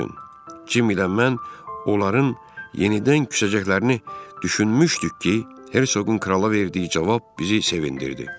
Jim ilə mən onların yenidən küsəcəklərini düşünmüşdük ki, Hersoqun krala verdiyi cavab bizi sevindirdi.